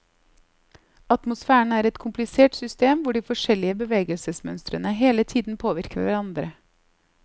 Atmosfæren er et komplisert system hvor de forskjellige bevegelsesmønstrene hele tiden påvirker hverandre.